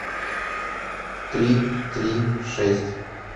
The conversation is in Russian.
три три шесть